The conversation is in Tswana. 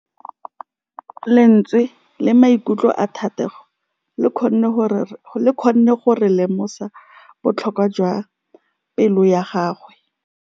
Lentswe la maikutlo a Thategô le kgonne gore re lemosa botlhoko jwa pelô ya gagwe.